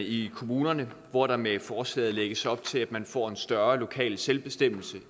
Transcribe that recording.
i kommunerne hvor der med forslaget lægges op til at man får en større lokal selvbestemmelse